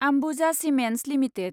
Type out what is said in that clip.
Ambuja cements limited